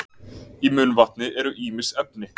í munnvatni eru ýmis efni